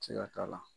Se ka k'a la